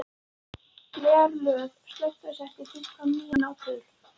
Geirlöð, slökktu á þessu eftir fimmtán mínútur.